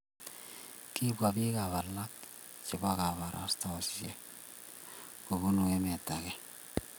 kibwa biikab alak chebo kabarastaosiek kobunu emet age